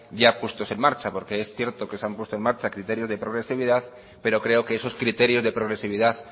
ya puestos en marcha porque es cierto que se han puesto en marcha criterios de progresividad pero creo que esos criterios de progresividad